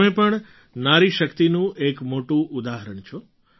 તમે પણ નારી શક્તિનું એક મોટું ઉદાહરણ છો